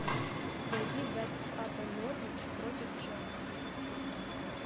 найди запись апл норвич против челси